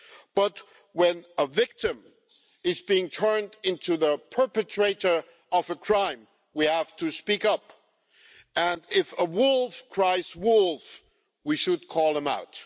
But when a victim is being turned into the perpetrator of a crime, we have to speak up, and if a wolf cries wolf, we should call it out.